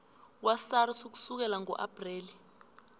kwasars ukusukela ngoapreli